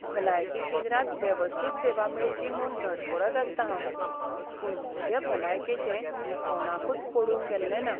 भलायकी केंद्रांत वेवस्थीत सेवा मेळची म्हूण धडपडत आसतां हांव. पूण म्हजे भलायकेचें कोणाकूच पडून गेल्लें ना.